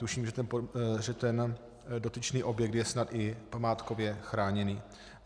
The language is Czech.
Tuším, že ten dotyčný objekt je snad i památkově chráněný.